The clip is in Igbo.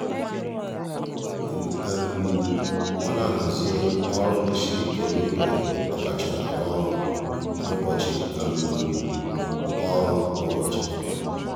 ọ na-ahazi ọrụ ndị siri ike n'oge ọ kacha arụ ọrụ n'ụbọchị. ọrụ n'ụbọchị.